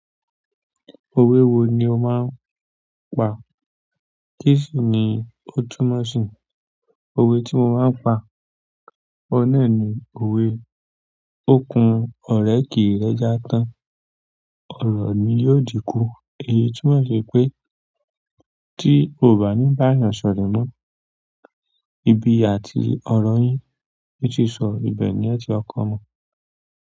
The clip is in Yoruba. Òwe wo ni o máa ń pa? Tkíìsì ni òtúmọ̀sìn, òwe tí mo máa pa. Ohun náà ni òwe, òkun ọ̀rẹ́ kì í rẹ́jà tán, ọ̀rọ̀ ni yóò dínkù. Èyí túmọ̀ sí pé tí o bá ní báàyàn sọ̀rẹ́ mọ́, ibi à ti ọ̀rọ̀ yín, ní ṣísọ ibẹ̀ ní ẹ̀ẹ́tí kọ́kọ́ mọ.